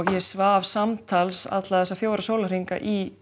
ég svaf samtals alla þessa fjóra sólarhringa í